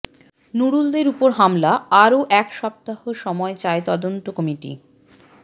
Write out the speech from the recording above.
নুরুলদের ওপর হামলা আরও এক সপ্তাহ সময় চায় তদন্ত কমিটি